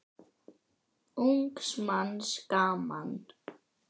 Ungs manns gaman.